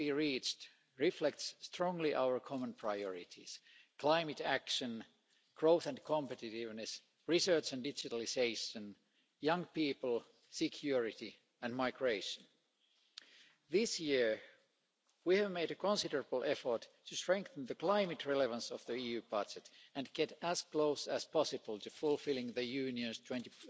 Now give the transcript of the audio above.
deal we reached reflects strongly our common priorities climate action, growth and competitiveness, research and digitalisation, young people, security and migration. This year we have made a considerable effort to strengthen the climate relevance of the EU budget and get as close as possible to fulfilling the Union's 20